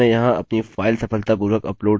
यहाँ कुछ और चीजें हैं जिन्हें हमें करने की जरूरत है